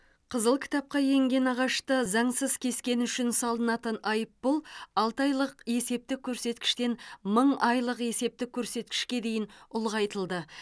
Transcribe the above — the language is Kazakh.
қызыл кітапқа енген ағашты заңсыз кескені үшін салынатын айыппұл алты айлық есептік көрсеткіштен мың айлық есептік көрсеткішке дейін ұлғайтылды